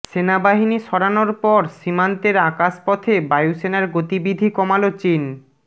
সেনাবাহিনী সরানোর পর সীমান্তের আকাশপথে বায়ুসেনার গতিবিধি কমাল চিন